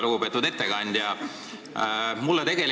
Lugupeetud ettekandja!